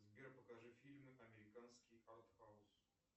сбер покажи фильмы американский артхаус